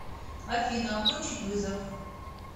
афина окончить вызов